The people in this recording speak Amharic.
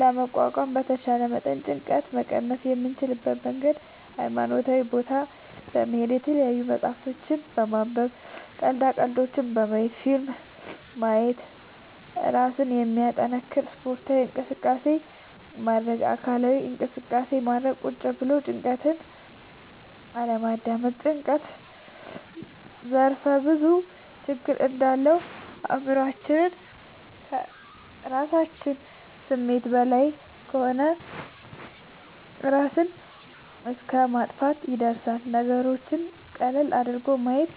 ለመቋቋም በተቻለ መጠን ጭንቀት መቀነስ የምንችልበት መንገድ ሀይማኖታዊ ቦታ በመሄድ፣ የተለያዪ መፅሀፍት በማንበብ፣ ቀልዳ ቀልዶች በማየት፣ ፊልም ማየት እና እራስን የሚያጠነክር ስፓርታዊ እንቅስቃሴ ማድረግ። አካላዊ እንቅስቃሴ ማድረግ ቁጭ ብሎ ጭንቀትን አለማዳመጥ። ጭንቀት ዘርፍ ብዙ ችግር እንዳለው አእምሮአችን ማሳመን ከራሳችን ስሜት በላይ ከሆነ እራስን እስከ ማጥፍትም ይደርሳል። ነገሮችን ቀለል አድርጎ ማየት